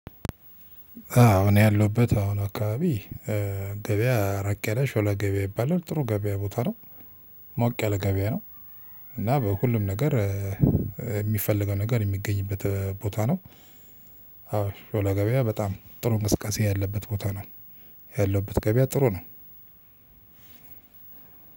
አዎ እኔ ያለሁበት አሁን አካባቢ ገበያ ራቅ ያለ ሾላ ገበያ ይባላል ጥሩ ገበያ ቦታ ነው። ሞቅ ያለ ገበያ ነው። እና በሁሉም ነገር የሚፈልገው ነገር የሚገኝበት ቦታ ነው። አዎ ሾሎ ገበያ በጣም ጥሩ እንቅስቃሴ ያለበት ቦታ ነው። ያለውበት ገበያ ጥሩ ነው።